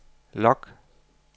log